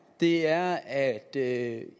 er at at